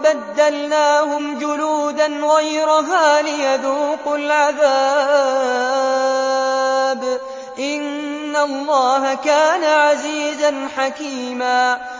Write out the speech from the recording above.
بَدَّلْنَاهُمْ جُلُودًا غَيْرَهَا لِيَذُوقُوا الْعَذَابَ ۗ إِنَّ اللَّهَ كَانَ عَزِيزًا حَكِيمًا